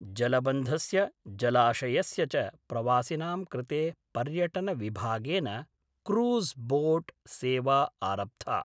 जलबन्धस्य जलाशयस्य च प्रवासिनां कृते पर्यटनविभागेन क्रूज़् बोट् सेवा आरब्धा